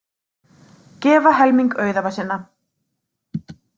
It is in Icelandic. Gefa helming auðæfa sinna